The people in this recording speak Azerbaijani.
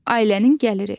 Ailənin gəliri.